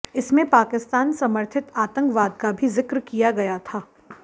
इसमें पाकिस्तान समर्थित आतंकवाद का भी जिक्र किया गया था